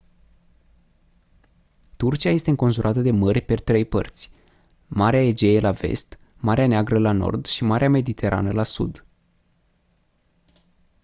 turcia este înconjurată de mări pe trei părți marea egee la vest marea neagră la nord și marea mediterană la sud